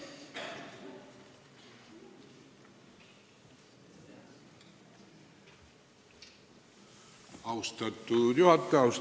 Austatud juhataja!